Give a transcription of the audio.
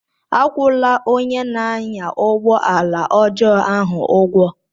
Akwụla onye na-anya ụgbọ ala ọjọọ ahu ụgwọ!